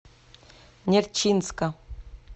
нерчинска